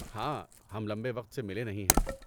ہاں، ہم لمبے وقت سے ملے نہیں ہیں۔